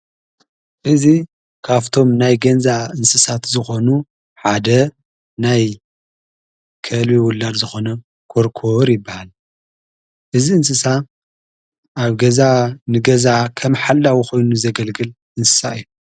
እዝ ካቶምብ ናይ ገዛ እንስሳት ዝኾኑ ሓደ ናይ ከልቢ ውላድ ዝኾነ ኰርኮር ይበሃል እዝ እንስሳ ኣብ ገዛ ንገዛዓ ኸም ሓላዊ ኾይኑ ዘገልግል እንስሳ እዮ።